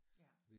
Ja